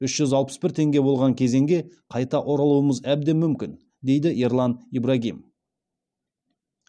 үш жүз алпыс бір теңге болған кезеңге қайта оралуымыз әбден мүмкін дейді ерлан ибрагим